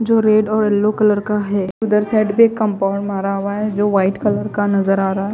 जो रेड और yellow colour का है उधर साइड पे कंपाउंड मारा हुआ है जो व्हाइट कलर का नज़र आ रहा है।